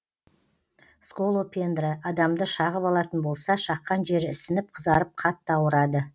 сколопендра адамды шағып алатын болса шаққан жері ісініп қызарып қатты ауырады